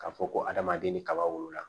K'a fɔ ko adamaden ni kaba wolola